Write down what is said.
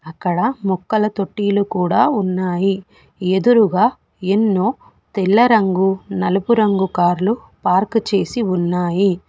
అక్కడ మొక్కల తొట్టిలు కూడా ఉన్నాయి ఎదురుగా ఎన్నో తెల్ల రంగు నలుపు రంగు కార్లు పార్క్ చేసి ఉన్నాయి.